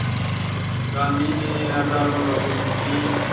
गांधी ने हज़ारों लोगों की